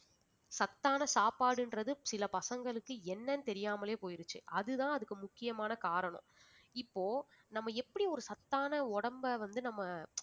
சத்தான சாப்பாடுன்றது சில பசங்களுக்கு என்னென்னு தெரியாமலே போயிருச்சு அதுதான் அதுக்கு முக்கியமான காரணம் இப்போ நம்ம எப்படி ஒரு சத்தான உடம்ப வந்து நம்ம